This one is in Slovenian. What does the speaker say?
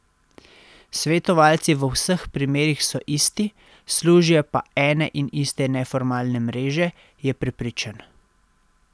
Svetovalci v vseh primerih so isti, služijo pa ene in iste neformalne mreže, je prepričan.